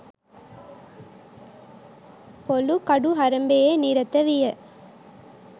පොලූ කඩු හරඹයේ නිරත විය